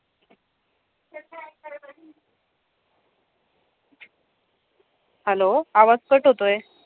Hello आवाज cut होतोय.